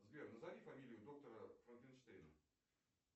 сбер назови фамилию доктора франкенштейна